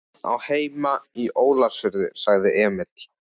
Hann á heima í Ólafsfirði, sagði Emil.